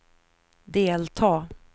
delta